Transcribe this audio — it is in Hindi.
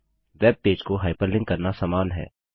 वेबपेज को हाइपरलिंक करना समान है